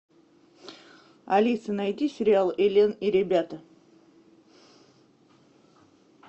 алиса найди сериал элен и ребята